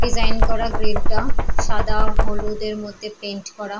Design করা grill -টা সাদা হলুদের মধ্যে পেইন্ট করা।